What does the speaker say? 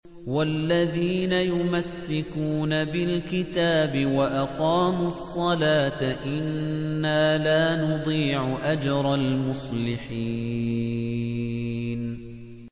وَالَّذِينَ يُمَسِّكُونَ بِالْكِتَابِ وَأَقَامُوا الصَّلَاةَ إِنَّا لَا نُضِيعُ أَجْرَ الْمُصْلِحِينَ